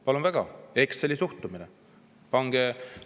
Palun väga: Excelist suhtumine!